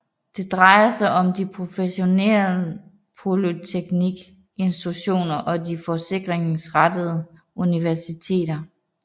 Det drejer sig om de professionsorienterede polyteknisk institutioner og de forskningsrettede universiteter